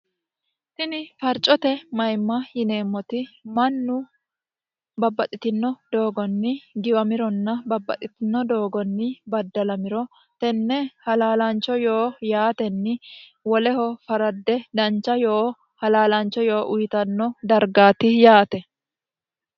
tini farcote mayimma yineemmoti mannu babbaxxitino doogonni giwamironna babbaxxitino doogonni baddalamiro tenne halaalaancho yoo yaatenni woleho faradde dancha yoo halaalaancho yoo uyitanno dargaati yaate